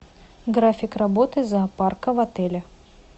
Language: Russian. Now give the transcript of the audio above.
график работы зоопарка в отеле